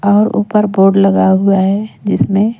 और ऊपर बोर्ड लगा हुआ है जिसमें--